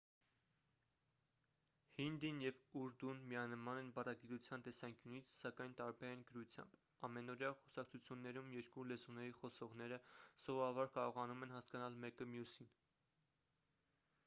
հինդին և ուրդուն միանման են բառագիտության տեսանկյունից սակայն տարբեր են գրությամբ ամենօրյա խոսակցություններում երկու լեզուների խոսողները սովորաբար կարողանում են հասկանալ մեկը մյուսին